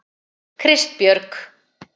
Kristbjörg